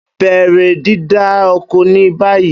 Bẹrẹ dida oko ni bayi!